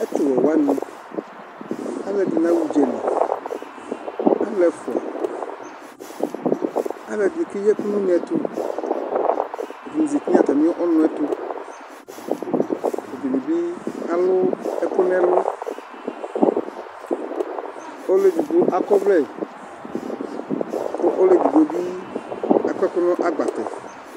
Ɛtuwɛwaŋi aluɛɖìŋí aɣa ʋdzali alʋ ɛfʋa Alʋ ɛɖìní keɣi ɛku ŋu ʋnɛ tu Ɛɖìní zɛti ŋu atami ɔnʋɛ tu Ɛɖìní bi alʋ ɛku ŋu ɛlu Ɔlu ɛɖigbo akɔvlɛ kʋ ɔluɛɖigbo bi akɔ ŋu agbatɛ